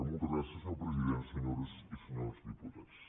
moltes gràcies senyor president senyores i senyors diputats